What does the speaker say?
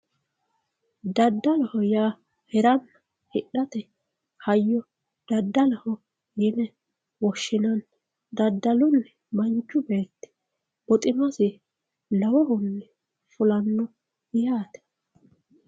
Daddaloho yaa hirate hidhate daddaloho yine woshshinanni daddaluni manchu beetti buximasi lowohunni fullano yaate.